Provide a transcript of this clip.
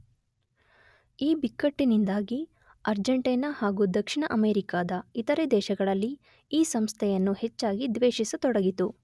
ಈ ಬಿಕ್ಕಟ್ಟಿನಿಂದಾಗಿ ಅರ್ಜೆಂಟೈನಾ ಹಾಗೂ ದಕ್ಷಿಣ ಅಮೆರಿಕಾದ ಇತರೆ ದೇಶಗಳಲ್ಲಿ ಈ ಸಂಸ್ಥೆಯನ್ನು ಹೆಚ್ಚಾಗಿ ದ್ವೇಷಿಸತೊಡಗಿತು